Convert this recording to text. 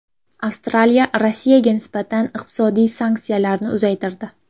Avstraliya Rossiyaga nisbatan iqtisodiy sanksiyalarni uzaytirdi.